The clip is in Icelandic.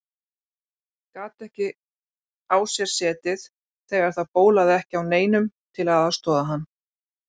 Gat ekki á sér setið þegar það bólaði ekki á neinum til að aðstoða hann.